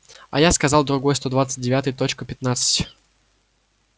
а я сказал другой сто двадцать девятый точка пятнадцать